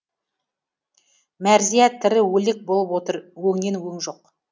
мәрзия тірі өлік болып отыр өңнен өң жоқ